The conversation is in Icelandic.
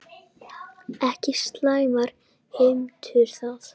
Ekki slæmar heimtur það.